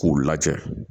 K'u lajɛ